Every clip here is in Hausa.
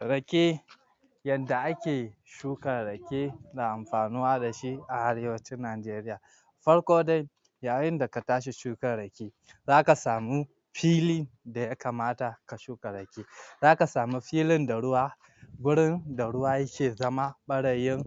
Rake yadda ake shukar Rake da amfanuwa da shi a arewacin Nigaria farko dai yayin da ka tashi shukar Rake za ka samu fili da ya kamata ka shuka Rake za ka samu filin da ruwa wurin da ruwa yake zama ɓarayin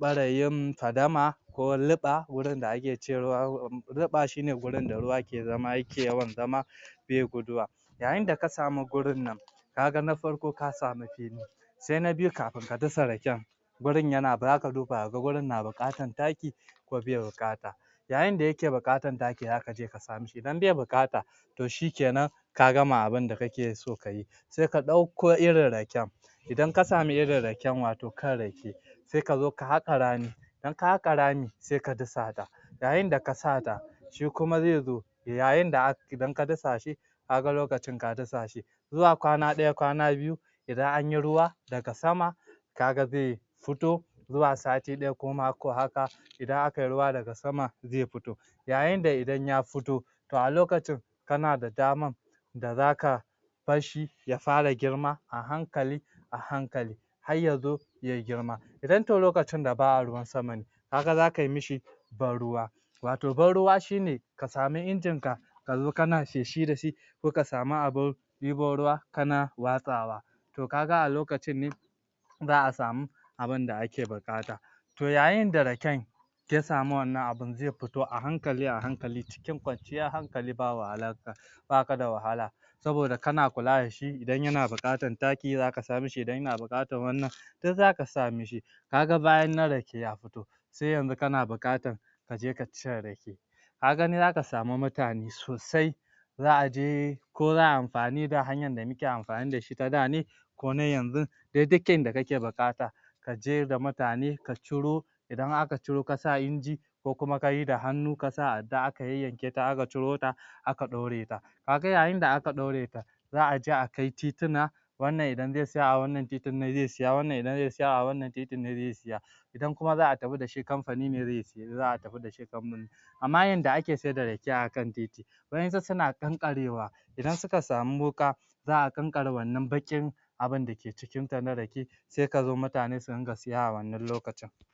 ɓarayin fadama ko luɓa wurin da ake ce luɓa shi ne wurin da ruwa ke zama yake yawan zama be guduwa yayin da ka samu gurin nan ka ga na farko ka samu fili sai na biyu kafin ka dasa Raken wurin yana zaka duba ka ga wurin yan buƙatar taki ko bai buƙata yayin da yake buƙatar taki za ka je ka sa mishi idan be buƙata to shikenan ka gama abinda kake so ka yi sai ka ɗauko irin Rake idan ka sami irin Raken wato kan Rake sai ka zi ka haƙa rami idan ka haƙa rami sai ka dasa yayin da ka sa ta shi kuma zai zo yayin da idan ka dasa shi ka ga lokacin ka da shi zuwa kwana ɗaya kwana biyu idan anyi ruwa daga sama ka ga ze fito zuwa sati ɗaya kuma ko mako haka idan akai ruwa daga sama zai fito yayin da idan ya fito to a lokacin kana da damar da zaka bar shi ya fara girma a hankali a hankali har ya zo ya girma idan to lokacin da ba a ruwan sama ne ka ga za kai mishi barruwa wato barruwa shi ne ka samu Injinka ka zo kana feshi da shi ko ka samu abin ɗebo ruwa kana watsawa to ka ga a lokacin ne za a samu abinda ake buƙata to yayin da Raken ya samu wannan abin zai foto a hankali a hankali cikin kwanciyar hankali ba wahala baka da wahala saboda kana kula da shi idan yana buƙatar taki zaka sa mishi idan yana buƙatar duk zaka sa mishi ka ga bayannan Rake ya fito sai yanzu kana buƙatar ka je ka cire Rake ka gani zaka samu mutane sosai za a je ko za ai amfani da hanyar da muke amfani da shi ta da ne? ko na yanzun? duk yadda kake buƙata ka je da mutane ka ciro idan aka ciro ka sa a Inji ko kuma ka yi da hannu ka sa yayyanketa aka ciro ta aka ɗaure ta ka ga yayin da aka ɗaure ta za a ja akai titina wannan idan zai siya a wannan titin ne zai siya ,wannan idan zai siya a wannan titin ne zai siya idan kuma za a tafi da shi kamfani ne zai siye za a tafi da shi amma yadda ake saida Rake akan titi wa'yansu suna ƙaƙarewa idan suka samu wuƙa za a ƙanƙare wannan baƙin abida ke cikinta na Rake sai ka zo mutane su riƙa siya a wannan lokacin